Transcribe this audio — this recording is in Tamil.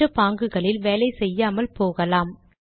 மற்ற பாங்குகளில் வேலை செய்யாமல் போகலாம்